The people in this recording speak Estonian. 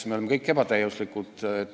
Me oleme kõik ebatäiuslikud.